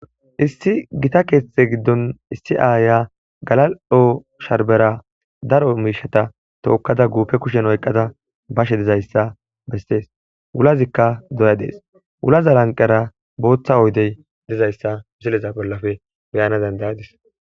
issi gita keththe giddon issi aaya galali'o sharbera daro miishata tookkada guupe kushen oyqqada bashe dizayssa bessees wulazikka doya dees wulaza lanqera booththa oydey dizayssa misileza bollafe beyana dandayadis